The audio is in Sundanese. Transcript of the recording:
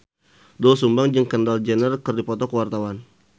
Doel Sumbang jeung Kendall Jenner keur dipoto ku wartawan